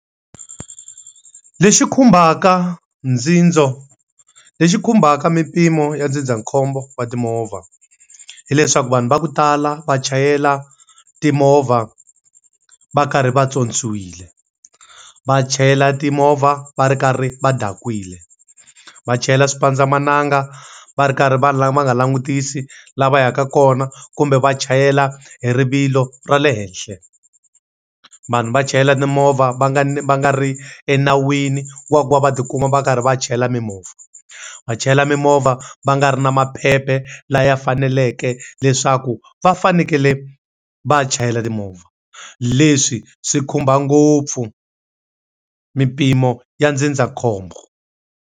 Lexi khumbaka lexi khumbaka mimpimo ya ndzindzakhombo wa timovha, hileswaku vanhu va ku tala va chayela timovha va karhi va pyopyiwile. Va chayela timovha va ri karhi va dakwile. Va chayela xipandzamananga va ri karhi va va nga langutisi laha va yaka kona kumbe va chayela hi rivilo ra le henhla. Vanhu va chayela timovha va nga va nga ri enawini wa ku va va ti kuma va karhi va chayela mimovha, va chayela mimovha va nga ri na maphepha la ya faneleke leswaku va fanekele va chayela timovha. Leswi swi khumba ngopfu mimpimo ya ndzindzakhombo.